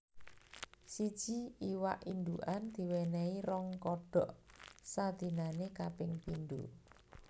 Siji iwak indukan diwenehi rong kodhok sadinanè kaping pindho